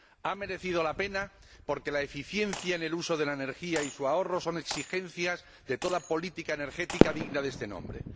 Ha merecido la pena, porque la eficiencia en el uso de la energía y su ahorro son exigencias de toda política energética digna de este nombre.